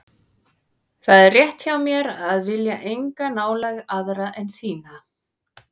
Það er rétt hjá mér að vilja enga nálægð aðra en þína.